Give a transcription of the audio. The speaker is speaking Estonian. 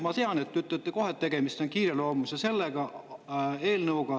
Ma tean, et te ütlete kohe, et tegemist on kiireloomulise eelnõuga.